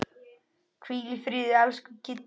Hvíl í friði, elsku Kittý.